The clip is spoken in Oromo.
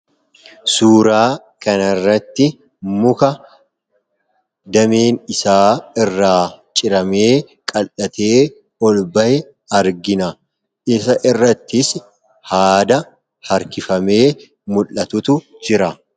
suuraa kanirratti muka dameen isaa irra ciramee qal'atee ol ba'e arginna. Isaa irrattis haada harkifamee mul'atuutu jira.